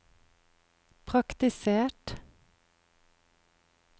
praktisert